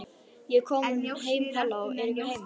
Ég er komin heim halló, er enginn heima?